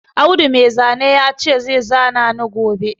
Audu Mai zane ya ce zai zana ni gobe